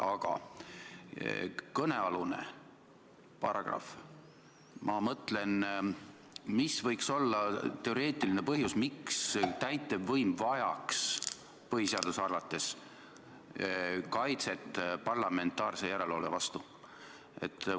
Aga kõnealune paragrahv – mis võiks olla teoreetiline põhjus, miks täitevvõim vajaks põhiseaduse arvates kaitset parlamentaarse järelevalve vastu?